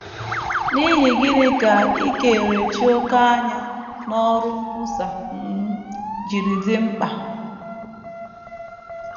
N’ihi gịnị ka ikerechi òkè anya n’ọrụ nkwusa um ji dị mkpa?